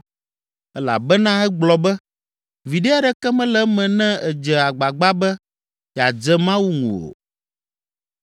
Elabena egblɔ be, ‘Viɖe aɖeke mele eme ne èdze agbagba be yeadze Mawu ŋu o.’